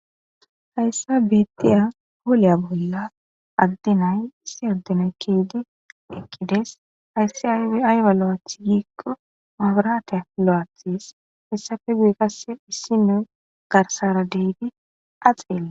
Hhayssa beettiya hooliya bolla addinay issi addenay keedi ekkides hayssi aywa lo7aath giikko maabaraate lo7aathes hessafe guyi qasse issino garsara deedi axeele